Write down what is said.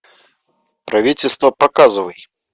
правительство показывай